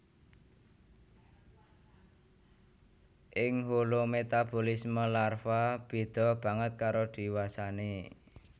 Ing holometabolisme larva béda banget karo diwasané